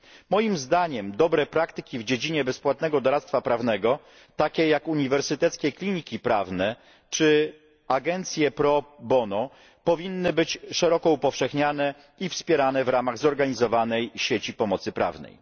Moim zdaniem dobre praktyki w dziedzinie bezpłatnego doradztwa prawnego takie jak uniwersyteckie kliniki prawne czy agencje pro bono powinny być szeroko upowszechnianie i wspierane w ramach zorganizowanej sieci pomocy prawnej.